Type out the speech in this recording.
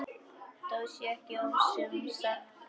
Það sé ekki ofsögum sagt.